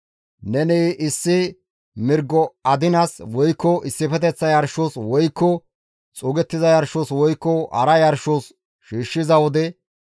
« ‹Neni issi mirgo adinas, woykko issifeteththa yarshos, woykko xuugettiza yarshos, woykko hara yarshos shiishshiza wode,